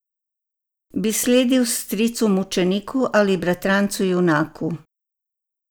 Bi sledil stricu mučeniku ali bratrancu junaku.